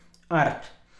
Art.